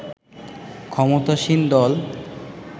ক্ষমতাসীন দল